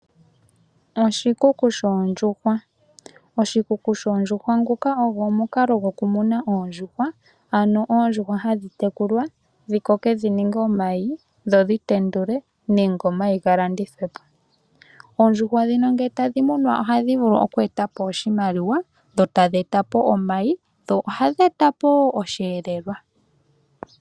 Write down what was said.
Oshikuku shoondjuhwa! Oshikuku shoondjuhwa nguka ogo omukalo goku muna oondjuhwa, ano oondjuhwa hadhi tekulwa, dhi koke dhi ninge omayi, dho dhi tendule nenge omayi ga landithwe po. Oondjuhwa dhino nge tadhi munwa oha dhi vulu oku eta po oshimaliwa, dho tadhi eta po omayi, dho ohadhi eta po woo osheelelwa.